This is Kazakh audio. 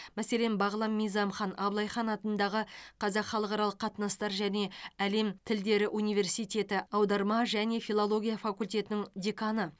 мәселен бағлан мизамхан абылай хан атындағы қазақ халықаралық қатынастар және әлем тілдері университеті аударма және филология факультетінің деканы